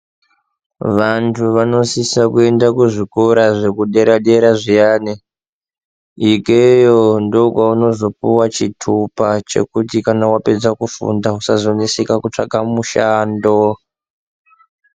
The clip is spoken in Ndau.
Vantu vanosisa kuenda kuzvikora zvekudera dera zviane, ikeyo ndokwavanozopuwa chitupa chekuti kana wapedza kufunda usazomisika kutsvaga mushando.